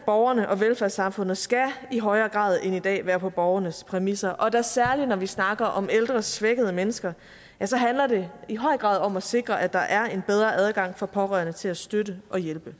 borgerne og velfærdssamfundet skal i højere grad end i dag være på borgernes præmisser og da særlig når vi snakker om ældre svækkede mennesker så handler det i høj grad om at sikre at der er en bedre adgang for pårørende til at støtte og hjælpe